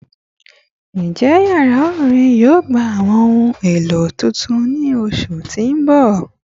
Njẹ yara orin yoo gba awọn ohun elo tuntun ni oṣu ti n bọ?